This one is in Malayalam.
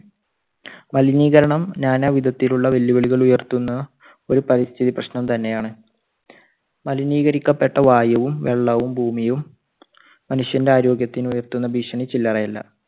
മലിനീകരണം നാനാവിധത്തിലുള്ള വെല്ലുവിളികൾ ഉയർത്തുന്ന ഒരു പരിസ്ഥിതി പ്രശ്നം തന്നെ ആണ്. മലിനീകരിക്കപ്പെട്ട വായുവും, വെള്ളവും, ഭൂമിയും മനുഷ്യന്റെ ആരോഗ്യത്തിന് ഉയർത്തുന്ന ഭീഷണി ചില്ലറയല്ല.